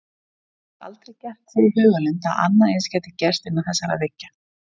Hann hafði aldrei gert sér í hugarlund að annað eins gæti gerst innan þessara veggja.